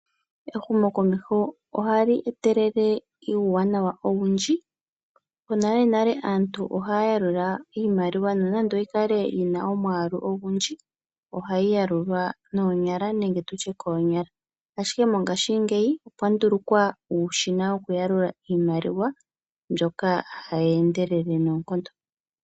Ehumokomeho ohali etelele uuwanawa owundji. Monalenale aantu ohaya yalula iimaliwa nonando oyikale yina omwaalu ogundji ohayi yalulwa noonyala nenge tutye koonyala. Ashike mongashingeyi opwa ndulukwa uushina wokuyalula iimaliwa mboka hawu endelele noonkondo.